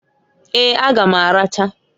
Eeǃ A ga m aracha.